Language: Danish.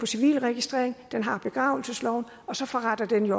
civilregistrering den har begravelsesloven og så forretter den